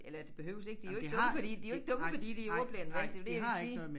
Eller de behøves ikke de jo ikke dumme fordi de jo ikke dumme fordi de ordblinde vel det var det jeg ville sige